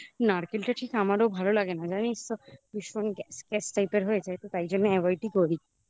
নারকেলটা ঠিক আমারও ভালো লাগে না জানিস তো ভীষণ গ্যাস typr এর হয়ে যায় তো তাই জন্য avoid করি